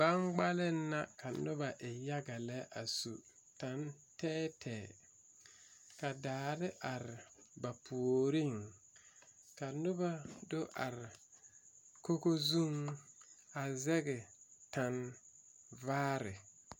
Gbaŋbgaliŋ la ka noba e yaga lɛ a su taŋ tɛɛtɛɛ ka daare are ba puoriŋ ka noba do are kogo zuŋ a zɛge taŋvaare.